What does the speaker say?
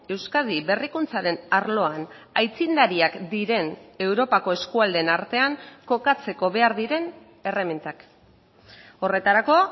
euskadi berrikuntzaren arloan aitzindariak diren europako eskualdeen artean kokatzeko behar diren erremintak horretarako